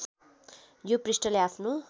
यो पृष्ठले आफ्नो